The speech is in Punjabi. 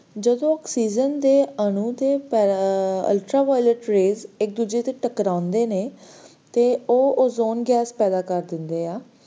ਜਦੋ oxygen ਦੇ ਆਨੁ ਦੇ ultraviolet rays ਇਕ ਦੂਜੇ ਨਾਲ ਟਕਰਾਉਂਦੇ ਨੇ ਤੇ ਉਹ ozone gas ਪੈਦਾ ਕਰ ਦਿੰਦੇ ਆ